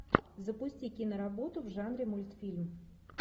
запусти киноработу в жанре мультфильм